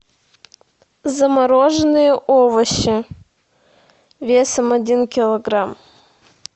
замороженные овощи весом один килограмм